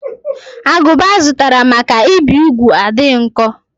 Agụba azụtara maka ibi úgwù adịghị nkọ.